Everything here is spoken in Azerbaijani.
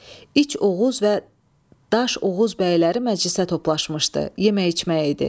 İç Oğuz və Daş Oğuz bəyləri məclisə toplaşmışdı, yemək-içmək idi.